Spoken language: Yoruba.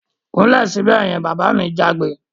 Kúnlẹ̀ sibẹ̀ yen! Bàbá mi jágbe